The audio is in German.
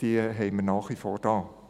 Sie ist nach wie vor da.